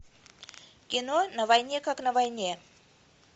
кино на войне как на войне